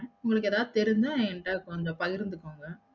உங்களுக்கு எதாவது தெரிஞ்ச என்ட்ட கொஞ்சம் பகிர்ந்துகோங்க